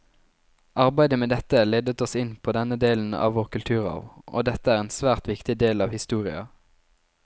Arbeidet med dette ledet oss inn på denne delen av vår kulturarv, og dette er en svært viktig del av historia.